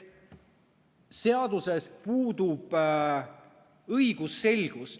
Seaduses puudub õigusselgus.